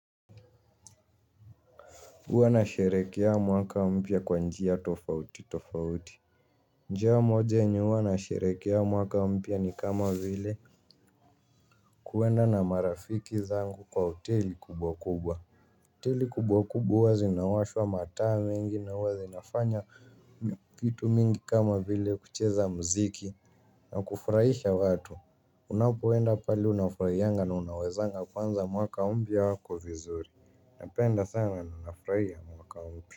Huwa na sherekea mwaka mpya kwa njia tofauti tofauti. Njia moja yenye huwa na sherehekea mwaka mpya ni kama vile kuenda na marafiki zangu kwa hoteli kubwa kubwa hoteli kubwa kubwa zinawashwa mataa mengi na huwa zinafanya kitu mingi kama vile kucheza mziki na kufurahisha watu. Unapoenda pahali unafurahianga na unawezanga kuanza mwaka mpya kwa vizuri na penda sana na nafurahia mwaka mpya.